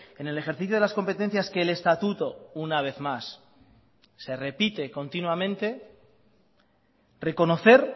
en el ejercicio de las competencias que el estatuto una vez más se repite continuamente reconocer